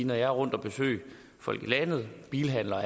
når jeg er rundt at besøge folk i landet bilhandlere og